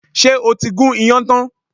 Ṣé o ti gún iyán tán?